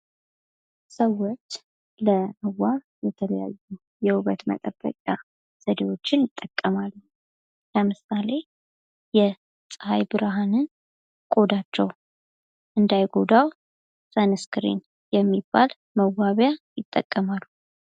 ሰዎች ለመዋብ የተለያዩ የውበት መጠበቂያ ዘዴዎችን ይጠቀማሉ ለምሳሌ የፀሐይ ብርሃንን ቆዳቸው እንዳይጎዳ ሰንስክን የሚባል መዋቢያ ይጠቀማሉ።